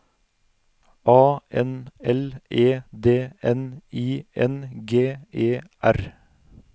A N L E D N I N G E R